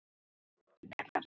Svo hlógum við.